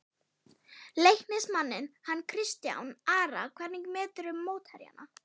Leiknismanninn hann Kristján Ara Hvernig meturðu mótherjana?